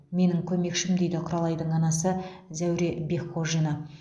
менің көмекшім дейді құралайдың анасы зәуре бекқожина